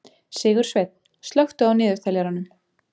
Sigursveinn, slökktu á niðurteljaranum.